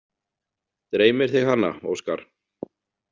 Dreymir þig hana, Óskar?